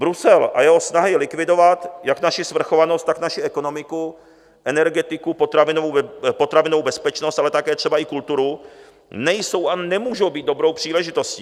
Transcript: Brusel a jeho snahy likvidovat jak naši svrchovanost, tak naši ekonomiku, energetiku, potravinovou bezpečnost, ale také třeba i kulturu nejsou a nemůžou být dobrou příležitostí.